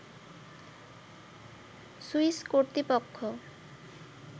Swiss কর্তৃপক্ষ